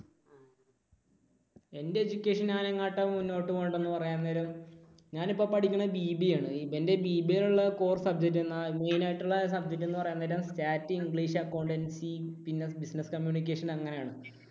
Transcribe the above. എൻറെ education ഞാൻ എങ്ങോട്ടാ മുന്നോട്ടുകൊണ്ടുപോകുന്നത് എന്ന് പറയാൻ നേരം ഞാൻ ഇപ്പോൾ പഠിക്കുന്നത് BBA ആണ്. എന്റെ BBA യിൽ ഉള്ള core subject എന്നാൽ, main ആയിട്ടുള്ള subject എന്ന് പറയാൻ നേരം Stati, English, Accountancy പിന്നെ business communication അങ്ങനെയാണ്.